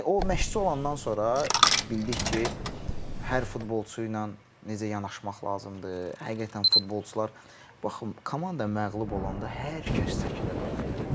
o məşqçi olandan sonra bildik ki, hər futbolçu ilə necə yanaşmaq lazımdır, həqiqətən futbolçular baxın komanda məğlub olanda hər kəs çəkilir arxaya.